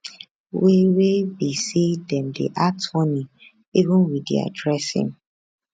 wey wey be say dem dey act funny even wit dia dressing